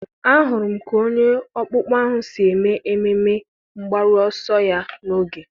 ahụrụ m ka onye ọkpụkpọ ahụ si eme ememe mgbaru ọsọ mbụ ya n'oge.